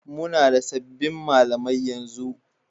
Muna da sabbin malamai yanzu.